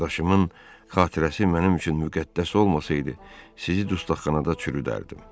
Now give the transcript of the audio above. Qardaşımın xatirəsi mənim üçün müqəddəs olmasaydı, sizi dustaqxanada çürüdərdim.